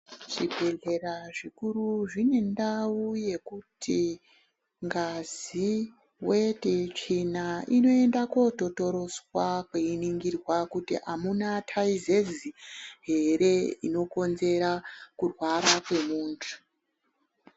Zvibhedhlera zvikuru zvine ndau yekuti ngazi, weti, tsvina inoenda kototoroswa keiningirwa kuti amuna thaizezi ere inokotsera kurwara kwemuntu.